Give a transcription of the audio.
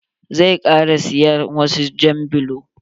Zai ƙara siya wasu jan bulo.